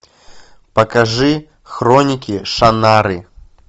покажи хроники шаннары